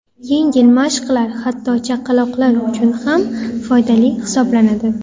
Yengil mashqlar hatto chaqaloqlar uchun ham foydali hisoblanadi.